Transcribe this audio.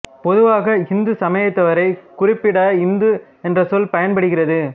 பொதுவாக இந்து சமயத்தவரைக் குறிப்பிட இந்து என்ற சொல் பயன்படுகிறது